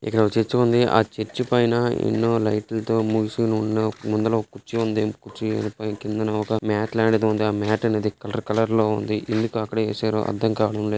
ఇక్కడ ఒక్క చర్చ్ వుంది ఆ చర్చ్ పైన ఎన్నో లైట్ లుతో మూసిఉన్న ముందల ఒక కుర్చీ వుంది ఆ కుర్చీ కింద మాట్ లాంటిది వుంది ఆ మాట్ అనేది కలర్ కలర్ ల వుంది ఎందుకు అక్కడ వేసారో అర్ధంకావడం --